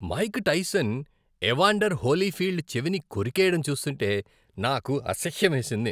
Mic Tyson Evander Holyfield చెవిని కొరికెయ్యడం చూస్తూంటే నాకు అసహ్యం వేసింది.